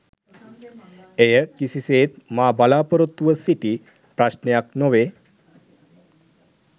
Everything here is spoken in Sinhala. එය කිසිසේත් මා බලාපොරොත්තු ව සිටි ප්‍රශ්නයක් නොවේ.